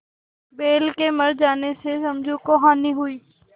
बैल के मर जाने से समझू को हानि हुई